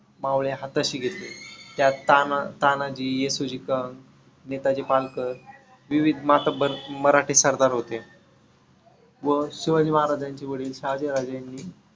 मावळे हाताशी घेतले. त्यात तानातानाजी, येसुजी , नेताजी पालकर, विविध मातबर मराठी सरदार होते. व शिवाजी महाराजांचे वडील शहाजीराजे यांनी